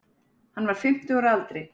Hann var fimmtugur að aldri